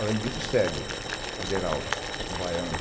Além disso, Cego é de Heraldo, um baiano.